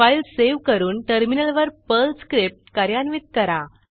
file save करून टर्मिनलवर Perl script कार्यान्वित करा